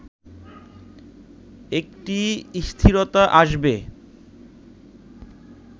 একটি স্থিরতা আসবে